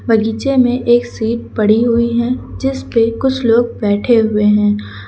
बगीचे में एक सीट पड़ी हुई है जिसपे कुछ लोग बैठे हुए हैं।